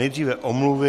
Nejdříve omluvy.